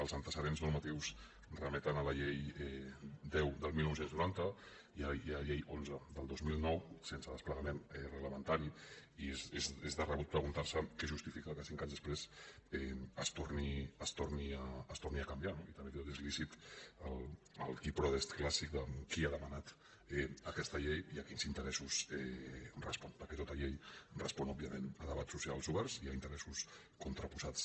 els antecedents normatius remeten a la llei deu del dinou noranta i a la llei onze del dos mil nou sense desplegament reglamentari i és de rebut preguntar se què justifica que cinc anys després es torni a canviar no i també és lícit el cui prodest clàssic de qui ha demanat aquesta llei i a quins interessos respon perquè tota llei respon òbviament a debats socials oberts i a interessos contraposats